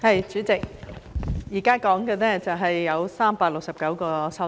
代理主席，現在說的有369項修正案。